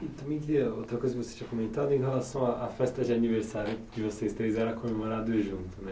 Outra coisa que você tinha comentado em relação à à festa de aniversário de vocês três era comemorado junto, né?